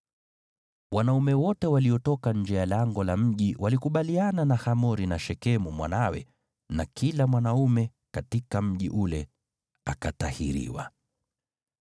Wanaume wote waliotoka nje ya lango la mji walikubaliana na Hamori na Shekemu mwanawe na kila mwanaume katika mji ule akatahiriwa.